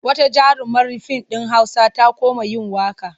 Wata jarumar fim ɗin Hausa ta koma yin waƙa.